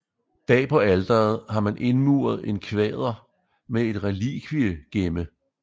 Bag på alteret har man indmuret en kvader med et relikviegemme